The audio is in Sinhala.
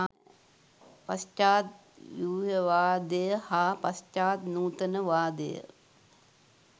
පශ්චාත් ව්‍යුහවාදය හා පශ්චාත් නූතනවාදය